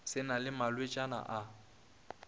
se na le malwetšana a